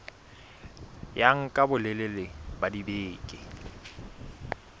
ya nka bolelele ba dibeke